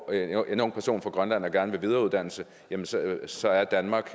er en ung person fra grønland der gerne vil videreuddanne sig så er danmark